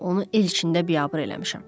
Guya onu el içində biabır eləmişəm.